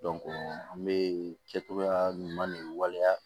an bɛ kɛ togoya ɲuman ni waleya